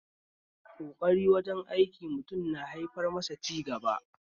Ƙokari wajen aikin mutum na haifar masa da cigaba